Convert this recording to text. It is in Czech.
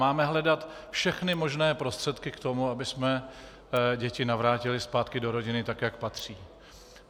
Máme hledat všechny možné prostředky k tomu, abychom děti navrátili zpátky do rodiny tak, jak patří.